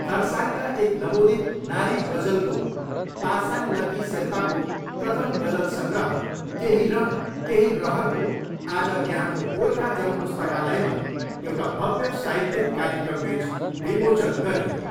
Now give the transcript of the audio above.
खरसाङका एक नवोदित नारी गजलगो पासाङ लक्की शेर्पाको प्रथम गजल सङ्ग्रह ' केही रङ, केही रहर'को आज यहाँको गोर्खा जन पुस्तकालयमा एउटा भव्य साहित्यिक कार्यक्रमबिच विमोचन गरियो।